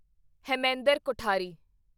Hemendra Kothari